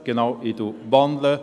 Ich möchte wandeln.